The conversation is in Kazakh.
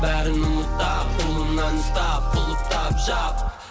бәрін ұмытам қолымнан ұстап құлыптап жап